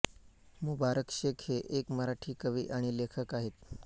मुबारक शेख हे एक मराठी कवी आणि लेखक आहेत